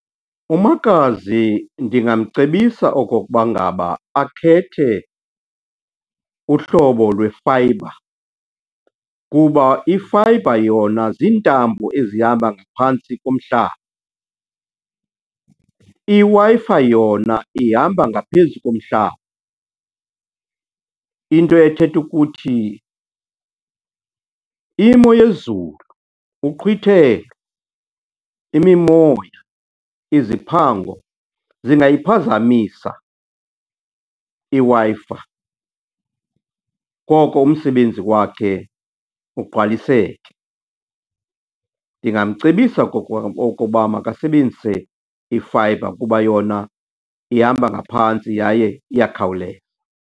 Umakazi ndingamcebisa okokuba ngaba akhethe uhlobo lwefayibha kuba ifayibha yona ziintambo ezihamba ngaphantsi komhlaba. IWi-Fi yona ihamba ngaphezu komhlaba, into ethetha ukuthi imo yezulu, uqhwithelo, imimoya, iziphango, zingayiphazamisa iWi-Fi, koko umsebenzi wakhe ugqwaliseke. Ndingamcebisa okoba makasebenzise ifayibha kuba yona ihamba ngaphantsi yaye iyakhawuleza.